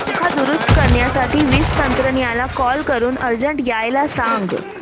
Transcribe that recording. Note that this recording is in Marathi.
पंखा दुरुस्त करण्यासाठी वीज तंत्रज्ञला कॉल करून अर्जंट यायला सांग